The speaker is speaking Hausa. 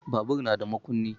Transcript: Babur na da makunni.